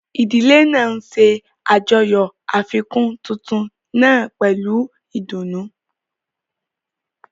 Ìdílé náà ń ṣe àjọyọ̀ àfikún tuntun náà pẹ̀lú ìdùnnú.